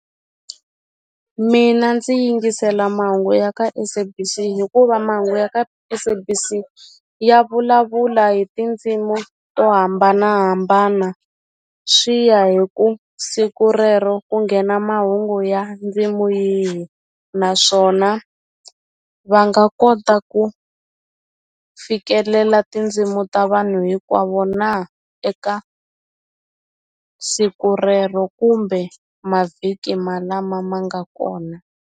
Mina ndzi yingisela mahungu ya ka SABC hikuva mahungu ya ka SABC ya vulavula hi tindzimu to hambanahambana swi ya hi ku siku rero ku nghena mahungu ya ndzimu yihi naswona va nga kota ku fikelela tindzimu ta vanhu hinkwavo na eka siku rero kumbe mavhiki ma lama ma nga kona.